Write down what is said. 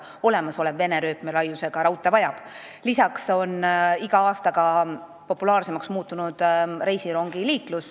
Rongiliiklus on iga aastaga populaarsemaks muutunud.